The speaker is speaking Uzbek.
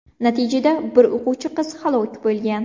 Natijada bir o‘quvchi qiz halok bo‘lgan.